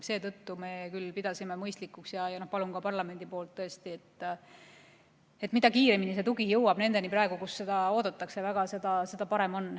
Seetõttu me küll pidasime mõistlikuks ja palun ka parlamenti, et mida kiiremini see tugi jõuab nendeni, kes seda väga ootavad, seda parem.